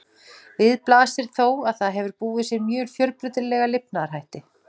Við blasir þó að það hefur búið sér mjög fjölbreytilega lifnaðarhætti.